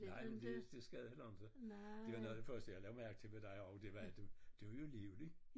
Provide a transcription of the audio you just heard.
Nej men det det skal det heller inte det var noget af det første jeg lagde mærke til ved dig også det var du du jo livlig